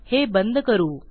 हे बंद करू